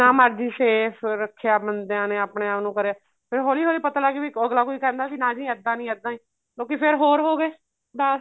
ਮਰਜੀ safe ਰੱਖਿਆ ਬੰਦਿਆਂ ਨੇ ਆਪਣੇ ਆਪ ਨੂੰ ਕਰਿਆ ਫ਼ਿਰ ਹੋਲੀ ਹੋਲੀ ਪਤਾ ਲੱਗ ਗਿਆ ਵੀ ਅਗਲਾ ਕੋਈ ਕਹਿੰਦਾ ਵੀ ਨਾ ਜੀ ਇੱਦਾਂ ਨੀ ਇੱਦਾਂ ਏ ਲੋਕੀ ਫੇਰ ਹੋਰ ਹੋ ਗਏ ਦੱਸ